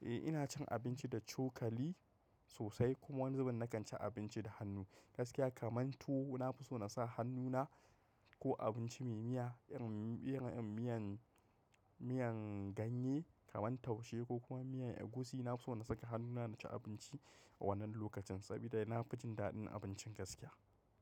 Eh ina cin abinci da cokali sosai kuma wani zuben na kan ci abinci da hannu. Gaskiya kamar tuwo na fi so na sa hannu na ko abinci mai miya irin miyan, miyan ganye kamar taushe ko kuma miyan egusi. Na fi so na saka hannuna na ci abinci wannan lokacin saboda na fi jin daɗin abincin gaskiya.